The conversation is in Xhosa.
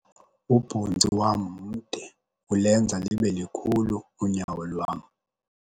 Ubhontsi wam mde ulenza libe likhulu unyawo lwam.